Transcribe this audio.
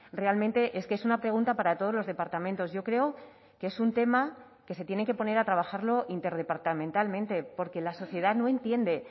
realmente es que es una pregunta para todos los departamentos yo creo que es un tema que se tienen que poner a trabajarlo interdepartamentalmente porque la sociedad no entiende